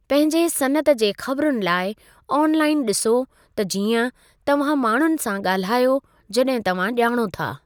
पंहिंजे सनअत जे ख़बरुनि लाइ आन लाइन ॾिसो त जीअं तव्हां माण्हुनि सां ॻाल्हायो जॾहिं तव्हां ॼाणो था।